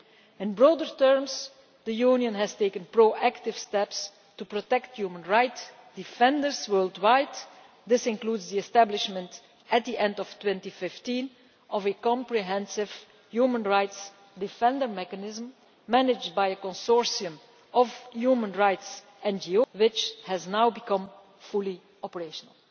In broader terms, the Union has taken proactive steps to protect human rights defenders worldwide. This includes the establishment, at the end of 2015, of a comprehensive human rights defender mechanism managed by a consortium of human rights NGOs which has now become fully operational.